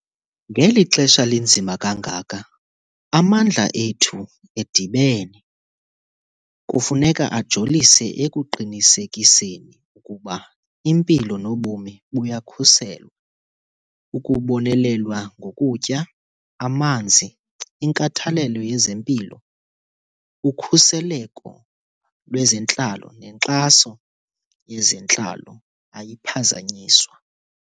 Ngeli xesha linzima kangaka, amandla ethu edibene kufuneka ajolise ekuqinisekiseni ukuba impilo nobomi buyakhuselwa, ukubonelelwa ngokutya, amanzi, inkathalelo yezempilo, ukhuseleko lwezentlalo nenkxaso yezentlalo ayiphazanyiswa.